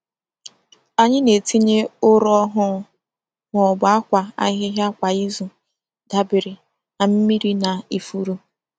Anyị na-etinye ụrọ ọhụụ ma ọ bụ akwa ahịhịa kwa izu, dabere na mmiri na ifuru.